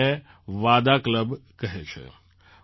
તેઓ તેને વાદા ક્લબ કહે છે